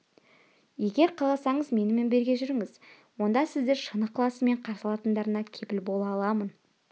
егер қаласаңыз менімен бірге жүріңіз онда сізді шын ықыласымен қарсы алатындарына кепіл бола аламын